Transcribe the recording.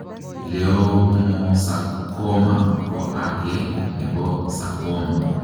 Leiomoosakoma ko agee nepo sakoma.